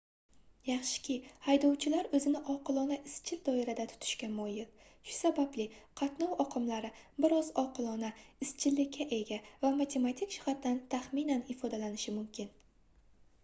yaxshiki haydovchilar oʻzini oqilona izchil doirada tutishga moyil shu sababli qatnov oqimlari bir oz oqilona izchillikka ega va matematik jihatdan taxminan ifodalanishi mumkin